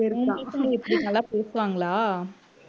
உன்கிட்ட எப்பிடி நல்லா பேசுவாங்களா